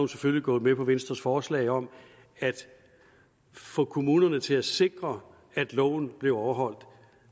selvfølgelig gået med på venstres forslag om at få kommunen til at sikre at loven blev overholdt